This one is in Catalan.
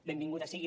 benvinguda sigui